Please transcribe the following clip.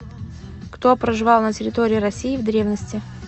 кто проживал на территории россии в древности